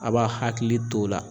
A b'a hakili t'o la.